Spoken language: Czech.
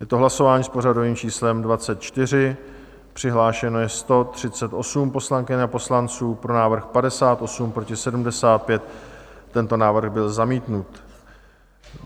Je to hlasování s pořadovým číslem 24, přihlášeno je 138 poslankyň a poslanců, pro návrh 58, proti 75, tento návrh byl zamítnut.